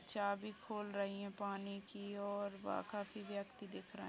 चाबी खोल रही है पानी की और वहाँ काफी व्यक्ति दिख रहे हैं।